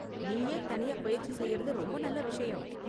நீயே தனியா பயிற்சி செய்யறது ரொம்ப நல்ல விஷயம்.